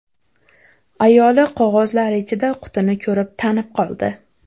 Ayoli qog‘ozlar ichida qutini ko‘rib tanib qoldi.